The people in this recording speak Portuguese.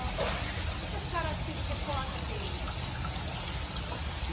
O que é que a senhora se recorda deles?